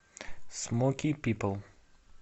смоки пипл